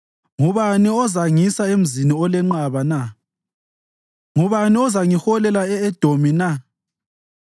Ngubani ozangisa emzini olenqaba na? Ngubani ozangiholela e-Edomi na?